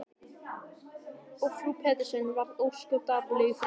Og frú Pettersson varð ósköp dapurleg í framan.